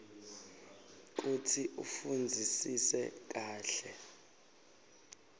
kutsi ufundzisise kahle